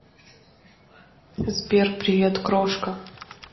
сбер привет крошка